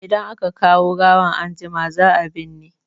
Idan aka kawo gawan anjima, za a binne.